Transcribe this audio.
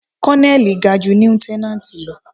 Kọ́lọ́nẹ́lì ga ju líútẹ́nánátì lọ.